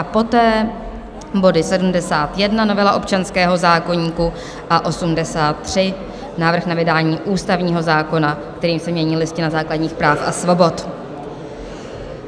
a poté body 71, novela občanského zákoníku, a 83, návrh na vydání ústavního zákona, kterým se mění Listina základních práv a svobod.